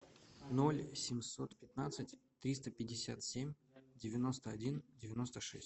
ноль семьсот пятнадцать триста пятьдесят семь девяносто один девяносто шесть